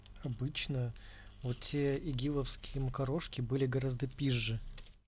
обычно вот те игиловские макарошки были гораздо пизже